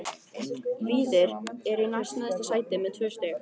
Víðir er í næst neðsta sæti með tvö stig.